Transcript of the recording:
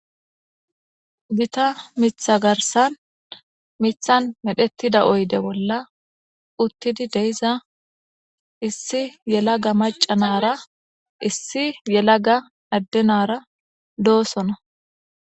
gita mitha garsan mithan medhettida oyde bolla uttidi deiza issi yelaga macanara issi yelaga addenara doosona